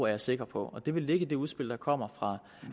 jeg sikker på det vil ligge i det udspil der kommer fra